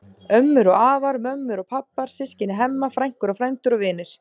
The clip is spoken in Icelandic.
Ömmur og afar, mömmur og pabbar, systkini Hemma, frænkur og frændur og vinir.